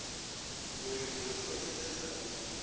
uri mbuno dzoṱhe dze dza